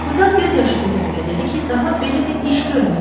Kotar göz yaşı tökə-tökə dedi ki, daha belə bir iş görməyəcək.